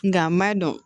Nka n m'a dɔn